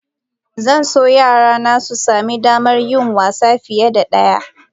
Zan so yarana su sami damar yin wasa fiye da ɗaya.